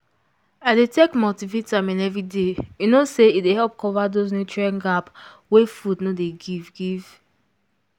i dey take multivitamin every day you know say e dey help cover those nutrient gap wey food no dey give give